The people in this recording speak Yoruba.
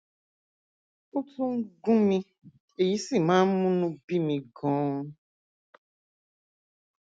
ó tún ń gún mi èyí sì máa ń múnú bí mi ganan